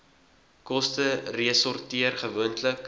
koste resorteer gewoonlik